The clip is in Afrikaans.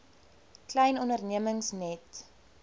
klein ondernemings net